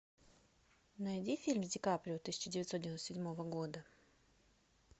найди фильм с ди каприо тысяча девятьсот девяносто седьмого года